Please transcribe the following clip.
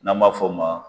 N'an b'a f'o ma